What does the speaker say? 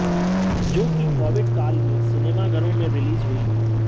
जो कि कोविड काल में सिनेमाघरों में रिलीज हुई